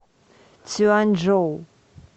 цюаньчжоу